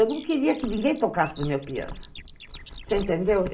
Eu não queria que ninguém tocasse no meu piano, você entendeu?